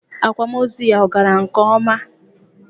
Akwamozu ya ọ gara nke ọma?